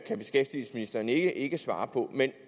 kan beskæftigelsesministeren ikke svare på